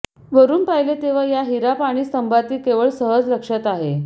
वरून पाहिले तेव्हा या हिरा पाणी स्तंभातील केवळ सहज लक्षात आहे